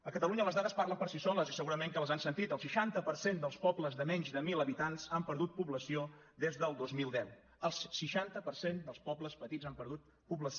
a catalunya les dades parlen per si soles i segurament que les han sentit el seixanta per cent dels pobles de menys de mil habitants han perdut població des del dos mil deu el seixanta per cent dels pobles petits han perdut població